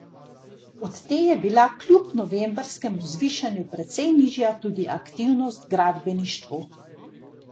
Od te je bila kljub novembrskemu zvišanju precej nižja tudi aktivnost v gradbeništvu.